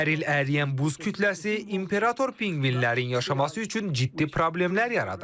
Hər il əriyən buz kütləsi imperator pinqvinlərin yaşaması üçün ciddi problemlər yaradır.